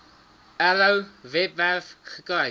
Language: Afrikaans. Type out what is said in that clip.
arrow webwerf gekry